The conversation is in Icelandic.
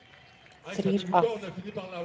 Þrír af